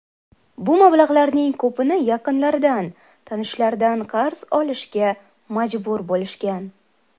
Bu mablag‘larning ko‘pini yaqinlaridan, tanishlaridan qarz olishga majbur bo‘lishgan.